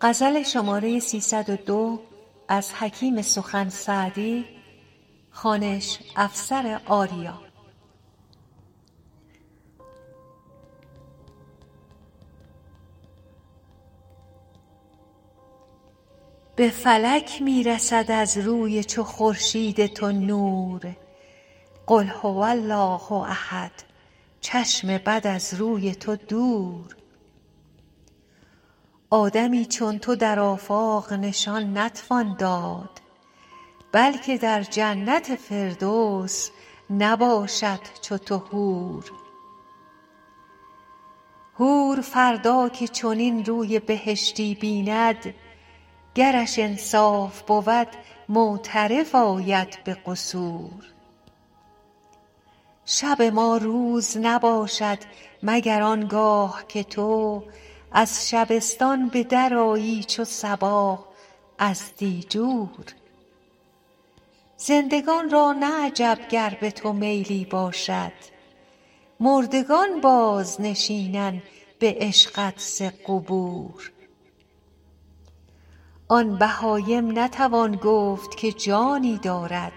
به فلک می رسد از روی چو خورشید تو نور قل هو الله احد چشم بد از روی تو دور آدمی چون تو در آفاق نشان نتوان داد بلکه در جنت فردوس نباشد چو تو حور حور فردا که چنین روی بهشتی بیند گرش انصاف بود معترف آید به قصور شب ما روز نباشد مگر آن گاه که تو از شبستان به درآیی چو صباح از دیجور زندگان را نه عجب گر به تو میلی باشد مردگان بازنشینند به عشقت ز قبور آن بهایم نتوان گفت که جانی دارد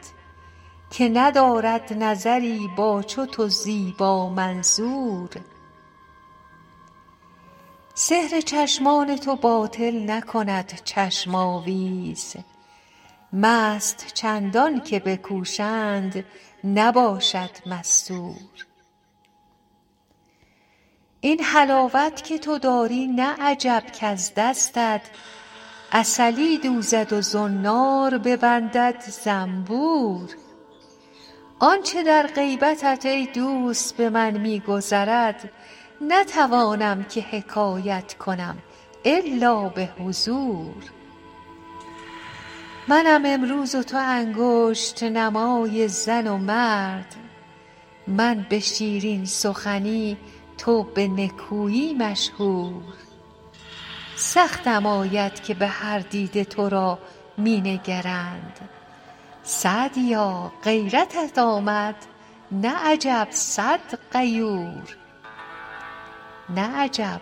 که ندارد نظری با چو تو زیبامنظور سحر چشمان تو باطل نکند چشم آویز مست چندان که بکوشند نباشد مستور این حلاوت که تو داری نه عجب کز دستت عسلی دوزد و زنار ببندد زنبور آن چه در غیبتت ای دوست به من می گذرد نتوانم که حکایت کنم الا به حضور منم امروز و تو انگشت نمای زن و مرد من به شیرین سخنی تو به نکویی مشهور سختم آید که به هر دیده تو را می نگرند سعدیا غیرتت آمد نه عجب سعد غیور